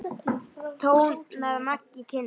tónaði Maggi kynnir.